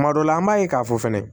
Kuma dɔ la an b'a ye k'a fɔ fɛnɛ